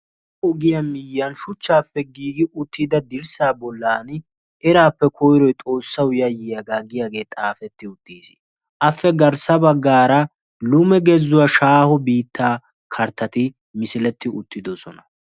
ogiya miyiyani shuchaappe giigi uttida dirsaa bolaani eraappe koyroy xoossawu yayyiyoogaa giyaage xaafetti uttiis. appe garsa bagaara lume gezzuwa shaaho kartatti uttidosona.